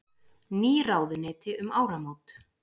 Ný ráðuneyti um áramót